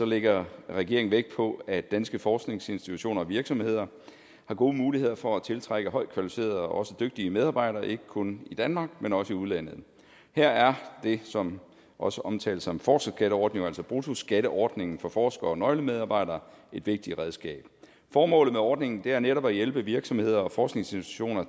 lægger regeringen vægt på at danske forskningsinstitutioner og virksomheder har gode muligheder for at tiltrække højtkvalificerede og også dygtige medarbejdere ikke kun i danmark men også i udlandet her er det som også omtales som forskerskatteordninger altså bruttoskatteordningen for forskere og nøglemedarbejdere et vigtigt redskab formålet med ordningen er netop at hjælpe virksomheder og forskningsinstitutioner